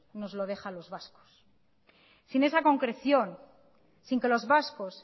nos lo deja a los vascos sin esa concreción sin que los vascos